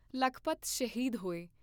ਲਖਪਤ ਸ਼ਹੀਦ ਹੋਏ